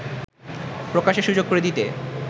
প্রকাশের সুযোগ করে দিতে